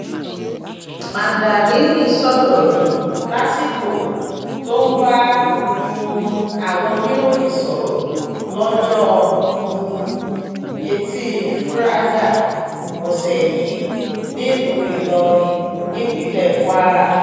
mandarini sọ̀rọ̀ yìí lásìkò tó ń bá um àwọn oníròyìn sọ̀rọ̀ lọ́jọ́ um etí furada ọ̀sẹ̀ yìí nílùú ìlọrin nípínlẹ̀ kwara